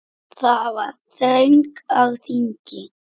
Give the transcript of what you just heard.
Það var þröng á þingi.